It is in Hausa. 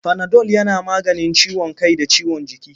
Fanadol yana maganin ciwon kai da ciwon jiki.